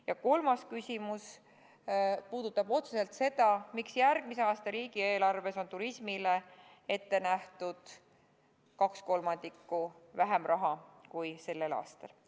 Ja kolmas küsimus puudutab otseselt seda, miks järgmise aasta riigieelarves on turismile ette nähtud kaks kolmandikku vähem raha kui sellel aastal.